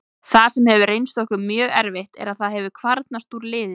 Það sem hefur reynst okkur mjög erfitt er að það hefur kvarnast úr liðinu.